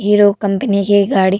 hero company की गाड़ी --